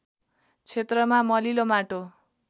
क्षेत्रमा मलिलो माटो